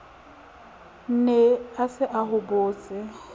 ne a se a hobotse